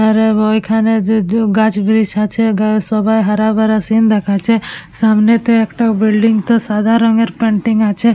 আর এব ঐখানে যে দ গাছবিরিচ আছে গাছ সবাই হারাভরা সিন দেখাচ্ছে সামনে তো একটা বিল্ডিং তে সাদা রঙের প্যান্টিং আছে ।